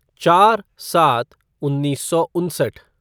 चार सात उन्नीस सौ उनसठ